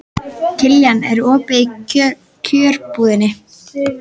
Kiljan, er opið í Kjörbúðinni?